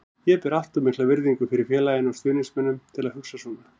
Ég ber allt of mikla virðingu fyrir félaginu og stuðningsmönnunum til að hugsa svona.